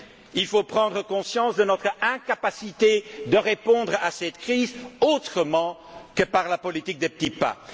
il faut prendre conscience de notre incapacité de répondre à cette crise autrement que par la politique des petits pas.